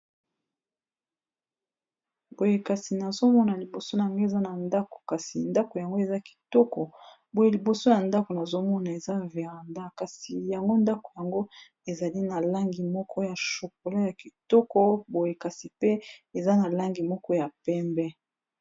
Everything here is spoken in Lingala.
Boye kasi nazomona liboso nanga eza na ndako kasi ndako yango eza kitoko boye liboso ya ndako nazomona eza veranda kasi yango ndako yango ezali na langi moko ya chokola ya kitoko boye kasi pe eza na langi moko ya pembe.